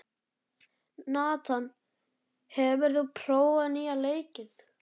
Nathan, hefur þú prófað nýja leikinn?